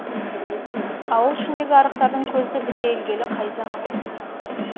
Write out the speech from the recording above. ауыл ішіндегі арықтардың көзі бітелгелі қай заман